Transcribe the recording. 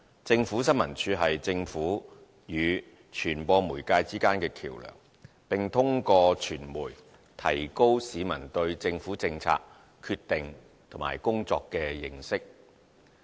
政府新聞處是政府與傳播媒介之間的橋樑，並通過傳媒提高市民對政府政策決定和工作的認識。